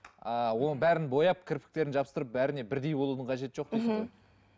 ыыы оның бәрін бояп кірпіктерін жабыстырып бәріне бірдей болудың қажеті жоқ дейсіз ғой